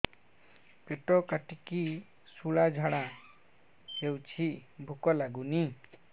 ପେଟ କାଟିକି ଶୂଳା ଝାଡ଼ା ହଉଚି ଭୁକ ଲାଗୁନି